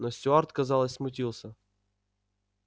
но стюарт казалось смутился